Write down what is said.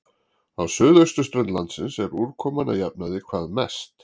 Á suðausturströnd landsins er úrkoman að jafnaði hvað mest.